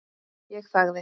Ég þagði.